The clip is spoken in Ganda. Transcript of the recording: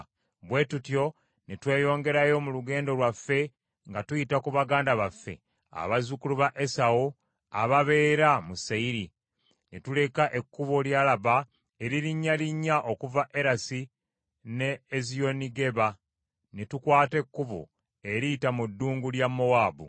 Bwe tutyo ne tweyongerayo mu lugendo lwaffe nga tuyita ku baganda baffe abazzukulu ba Esawu ababeera mu Seyiri. Ne tuleka ekkubo ly’Alaba eririnnyalinnya okuva Erasi ne Eziyonigeba, ne tukwata ekkubo eriyita mu ddungu lya Mowaabu.